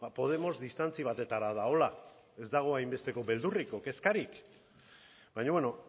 podemos distantzi batetara dagoela ez dago hainbesteko beldurrik edo kezkarik baina beno